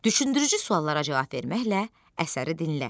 Düşündürücü suallara cavab verməklə əsəri dinlə.